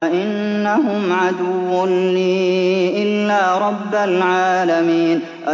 فَإِنَّهُمْ عَدُوٌّ لِّي إِلَّا رَبَّ الْعَالَمِينَ